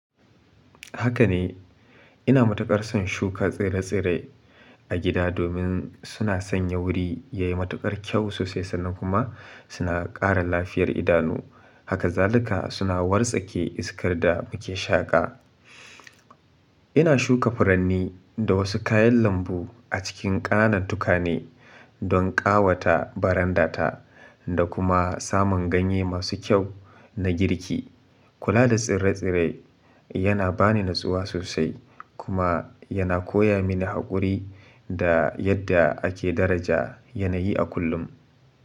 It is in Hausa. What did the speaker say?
Haka ne, ina matuƙar son shuka tsire-tsire a gida domin suna sanya wuri yayi matuƙar kyau sosai sannan kuma suna ƙara lafiyar idanuu. Hakazalika suna wartsake iskar da muke shaƙa. Ina shuka furanni da wasu kayan lambu a cikin ƙananan tukane don ƙawata barandata da kuma samun ganye masu kyau na girki. Kula da tsire-tsire yana bani natsuwa sosai kuma yana koya mini haƙuri da yadda ake daraja yanayi a kullum.